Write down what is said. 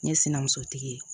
Ne ye sinimusotigi ye